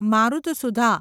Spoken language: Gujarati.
મારુતસુધા